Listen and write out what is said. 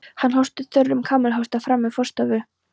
Hann hóstar þurrum kamelhósta frammí forstofu.